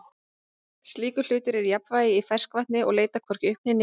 slíkur hlutur er í jafnvægi í ferskvatni og leitar hvorki upp né niður